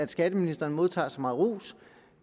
skatteministeren modtager så meget ros